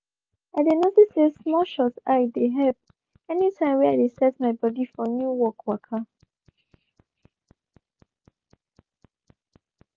i dey notice say small shut eye dey help anytime were i dey set my body for new work waka.